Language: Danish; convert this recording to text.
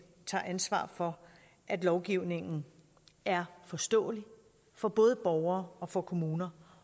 tager ansvar for at lovgivningen er forståelig for både borgere og for kommuner